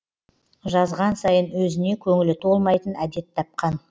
жазған сайын өзіне көңілі толмайтын әдет тапқан